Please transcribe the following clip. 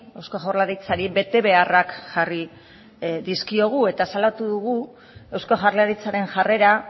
eusko jaurlaritzari betebeharrak jarri dizkiogu eta salatu dugu eusko jaurlaritzaren jarrera